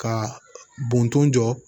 Ka bɔnton jɔ